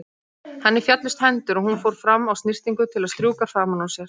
Henni féllust hendur og hún fór fram á snyrtingu til að strjúka framan úr sér.